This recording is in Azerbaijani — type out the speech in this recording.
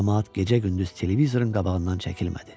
Camaat gecə-gündüz televizorun qabağından çəkilmədi.